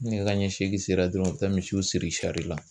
Ni nɛgɛ kanɲɛ seegin sera dɔrɔn o bɛ taa misiw siri la.